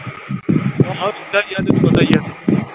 ਜਿੱਦਾਂ ਵੀ ਆ ਤੈਨੂੰ ਪਤਾ ਹੀ ਆ।